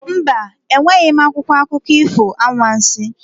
Mba, enweghị m akwụkwọ akụkọ ifo anwansi.